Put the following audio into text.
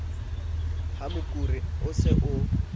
ha mokuru o se o